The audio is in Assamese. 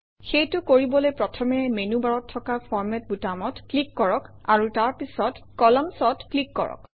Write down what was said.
সেইটো কৰিবলৈ প্ৰথমে মেনুবাৰত থকা ফৰমাত বুটামত ক্লিক কৰক আৰু তাৰ পিছত Columns অত ক্লিক কৰক